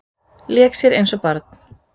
Lék sér eins og barn